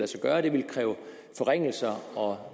sig gøre at det ville kræve forringelser og